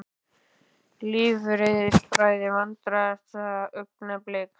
Lífeðlisfræði Vandræðalegasta augnablik?